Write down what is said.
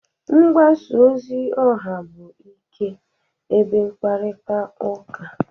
Mgbasa ozi ọha bụ ikpo ebe mkparita uka.